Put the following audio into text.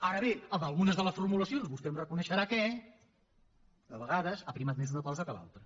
ara bé en algunes de les formulacions vostè em reconeixerà que a vegades ha prevalgut més una cosa que l’altra